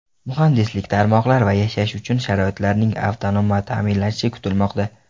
Muhandislik tarmoqlari va yashash uchun sharoitlarning avtonom ta’minlanishi kutilmoqda.